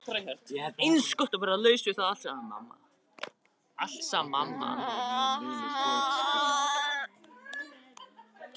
Eins gott að vera laus við það allt saman.